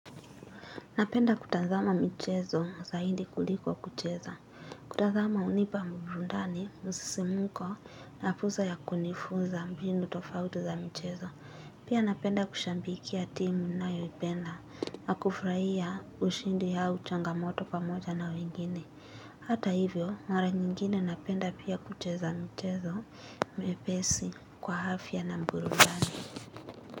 Napenda kutazama michezo zaidi kuliko kucheza. Kutazama hunipa burudani, msisimko, na fursa ya kunifunza mbinu tofauti za michezo. Pia napenda kushabikia timu ninayoipenda, na kufurahia ushindi au changamoto pamoja na wengine. Hata hivyo, mara nyingine napenda pia kucheza mchezo, mepesi kwa afya na burudani.